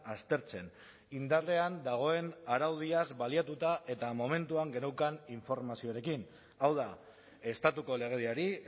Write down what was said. aztertzen indarrean dagoen araudiaz baliatuta eta momentuan geneukan informazioarekin hau da estatuko legediari